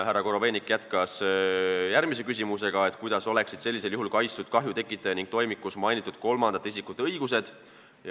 Härra Korobeinik jätkas ja küsis järgmisena, kuidas oleksid sellisel juhul kaitstud kahju tekitaja ning toimikus mainitud kolmandate isikute õigused.